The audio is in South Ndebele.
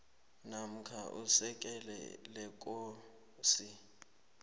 namkha isekela lekosi